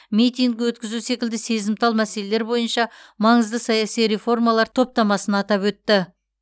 митинг өткізу секілді сезімтал мәселелер бойынша маңызды саяси реформалар топтамасын атап өтті